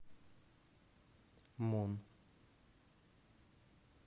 мун